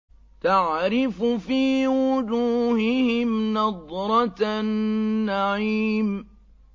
تَعْرِفُ فِي وُجُوهِهِمْ نَضْرَةَ النَّعِيمِ